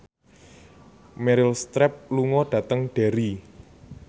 Meryl Streep lunga dhateng Derry